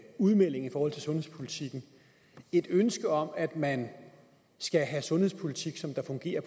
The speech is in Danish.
udmelding i forhold til sundhedspolitikken et ønske om at man skal have sundhedspolitik der fungerer